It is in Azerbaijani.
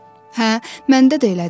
Hə, məndə də elədi.